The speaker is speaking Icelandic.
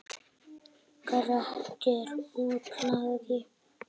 Grettir útlagi.